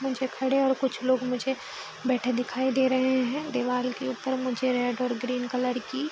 मुझे खड़े और कुछ लोग मुझे बैठे दिखाई दे रहे हैं दीवाल के ऊपर मुझे रेड और ग्रीन कलर की --